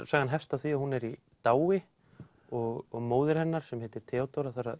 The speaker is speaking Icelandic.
sagan hefst á því að hún er í dái og móðir hennar sem heitir Theódóra þarf að